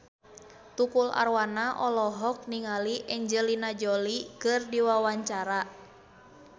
Tukul Arwana olohok ningali Angelina Jolie keur diwawancara